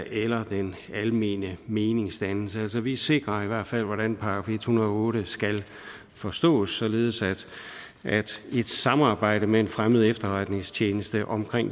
eller den almene meningsdannelse altså vi sikrer i hvert fald hvordan § en hundrede og otte skal forstås således at et samarbejde med en fremmed efterretningstjeneste om